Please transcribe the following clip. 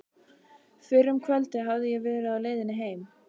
Fyrr um kvöldið hafði ég verið á leiðinni heim.